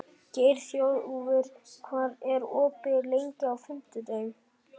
Geirþjófur, hvað er opið lengi á fimmtudaginn?